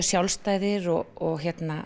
sjálfstæðir og